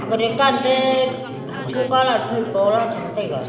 aga dekan te ha cho calad phai po la cham taega.